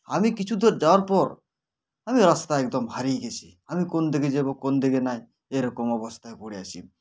আমি কিছু দূর যাওয়ার পর আমি রাস্তায় একদম হারিয়ে গেছি আমি কোন দিগে যাবো কোন দিগে নাই এরকম অবস্থায় পরে আছি